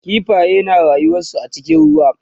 kifaye na rayuwansu a cikin ruwa